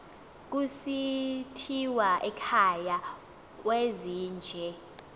kusithiwa ekhaya kwezinje